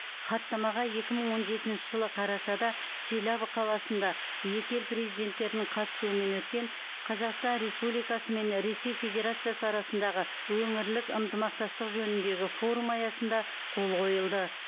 хаттамаға екі мың он жетінші жылы қарашада челябі қаласында екі ел президенттерінің қатысуымен өткен қазақстан республикасы мен ресей федерациясы арасындағы өңірлік ынтымақтастық жөніндегі форум аясында қол қойылды